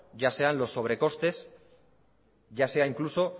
ya sean los sobrecostes ya sea incluso